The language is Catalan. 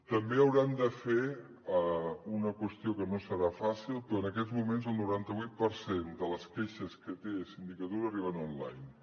també hauran de fer una qüestió que no serà fàcil però en aquests moments el noranta vuit per cent de les queixes que té sindicatura arriben online